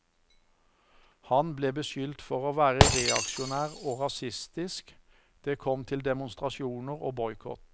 Han ble beskyldt for å være reaksjonær og rasistisk, det kom til demonstrasjoner og boikott.